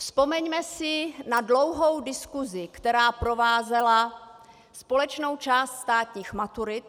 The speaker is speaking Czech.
Vzpomeňme si na dlouhou diskusi, která provázela společnou část státních maturit.